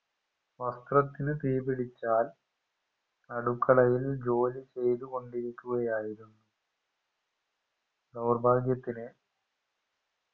വസ്ത്രത്തിന് തീ പിടിച്ചാൽ അടുക്കളയിൽ ജോലിചെയ്തുകൊണ്ടിരിക്കുകയായിരുന്നു ദൗർഭാഗ്യത്തിന്